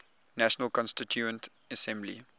national constituent assembly